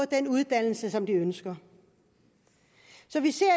den uddannelse som de ønsker så vi ser